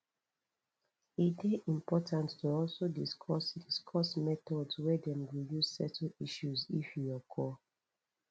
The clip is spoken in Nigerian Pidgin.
e de important to also discuss discuss methods wey dem go use settle issues if e occur